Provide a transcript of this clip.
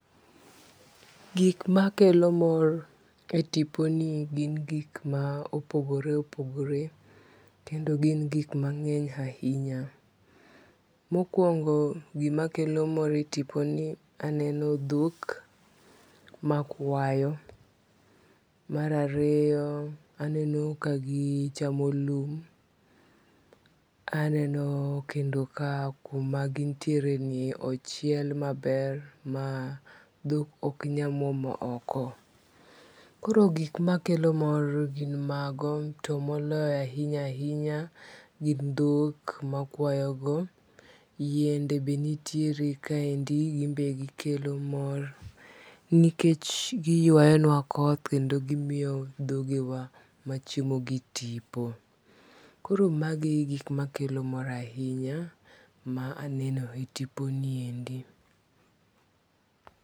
Gik makelo mor e tipo ni gin gik ma opogore opogore kendo gin gik mang'eny ahinya. Mokwongo gima kelo mor e tipo ni aneno dhok makwayo. Mar ariyo aneno ka gichamo lum. Aneno kendo ka kuma gintiere ni ochiel maber ma dhok ok nya muomo oko. Koro gik makelo mor gin mago to moloyo ahinya ahinya gin dhok makwayo go. Yiende be nitiere kaeindi ginbe gikelo mor nikech giywayonwa koth kendo gimiyo dhogewa machiemo gi tipo. Koro magi egik makelo mor a hinya ma enenoe tipo niendi.